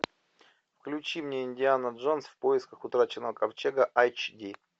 включи мне индиана джонс в поисках утраченного ковчега айч ди